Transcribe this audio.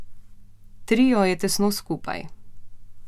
Trio je tesno skupaj.